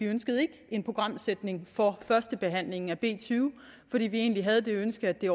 ønskede en programsætning for førstebehandlingen af b tyve fordi vi egentlig havde det ønske at det